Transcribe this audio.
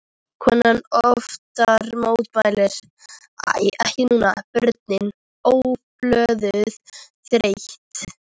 Konan oftar mótfallin, æ ekki núna, börnin, óupplögð, þreytt.